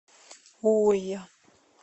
уйо